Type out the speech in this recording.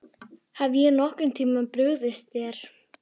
Hef ég nokkurn tíma brugðist þér?